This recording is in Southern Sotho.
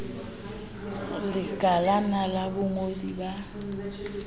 le lekalana la bongodi ba